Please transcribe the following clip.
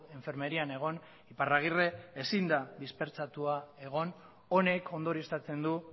enfermerian egon iparragirre ezin da dispertsatua egon honek ondorioztatzen du